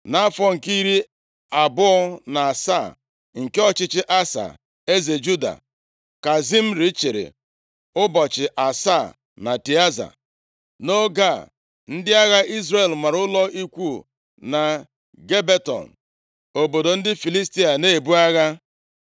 Nʼafọ nke iri abụọ na asaa nke ọchịchị Asa, eze Juda, ka Zimri chịrị ụbọchị asaa na Tịaza. Nʼoge a, ndị agha Izrel mara ụlọ ikwu na Gibeton, obodo ndị Filistia na-ebu agha.